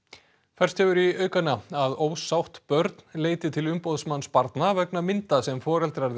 færst hefur í aukana að ósátt börn leiti til umboðsmanns barna vegna mynda sem foreldrar